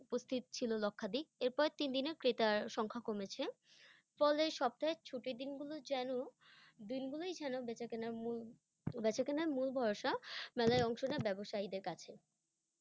উপস্থিত ছিলো লক্ষাধিক। এর পরের তিন দিনে ক্রেতার সংখ্যা কমেছে, ফলে সপ্তাহের ছুটির দিনগুলো যেন, দিনগুলোই যেন বেচাকেনার মূল, বেচাকেনার মূল ভরসা, মেলায় অংশ নেওয়া ব্যব্যসায়ীদের কাছে।